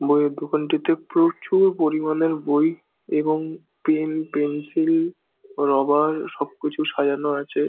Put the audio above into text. বইয়ের দোকানটিতে প্রচুর পরিমান বই এবং পেন পেন্সিল রবার সবকিছু সাজানো আছে ।